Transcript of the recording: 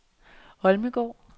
Holmegaard